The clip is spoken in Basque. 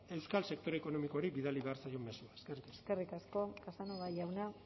euskal sektore ekonomikoari bidali behar zaion mezua eskerrik asko eskerrik asko casanova jauna